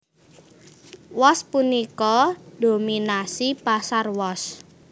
Wos punika ndhominasi pasar wos